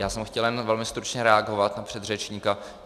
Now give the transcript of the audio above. Já jsem chtěl jen velmi stručně reagovat na předřečníka.